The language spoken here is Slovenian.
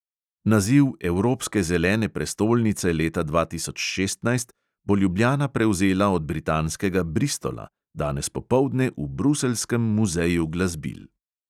Naziv evropske zelene prestolnice leta dva tisoč šestnajst bo ljubljana prevzela od britanskega bristola danes popoldne v bruseljskem muzeju glasbil.